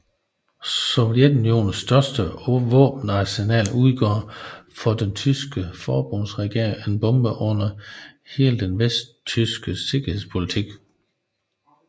Sovjetunionens større våbenarsenal udgjorde for den vesttyske forbundsregering en bombe under hele den vesttyske sikkerhedspolitik